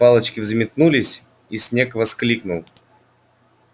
палочки взметнулись и снегг воскликнул